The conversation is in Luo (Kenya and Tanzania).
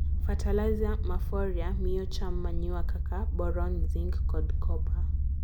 Fertilizer ma Foliar miyo cham manure kaka boron, zinc kod copper.